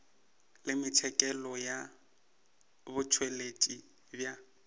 le metšhakelo ya botšweletši bja